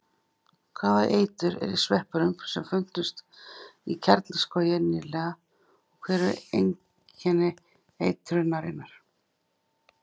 Hvaða eitur er í sveppunum sem fundust í Kjarnaskógi nýlega og hver eru einkenni eitrunarinnar?